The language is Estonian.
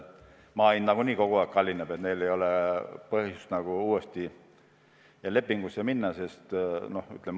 Maa hind nagunii kogu aeg kallineb ja ei ole põhjust uut lepingut sõlmida.